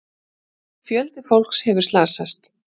Fjöldi fólks hefur slasast.